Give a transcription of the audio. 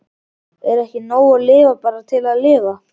Er ekki nóg að lifa bara til að lifa?